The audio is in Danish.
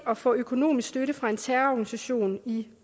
at få økonomisk støtte fra en terrororganisation i